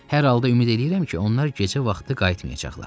Hər halda ümid eləyirəm ki, onlar gecə vaxtı qayıtmayacaqlar.